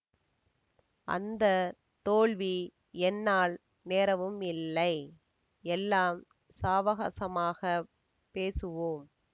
அந்த தோல்வி என்னால் நேரவும் இல்லை எல்லாம் சாவகாசமாகப் பேசுவோம்